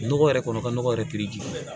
Nɔgɔ yɛrɛ kɔnɔ ka nɔgɔ yɛrɛ jufɛ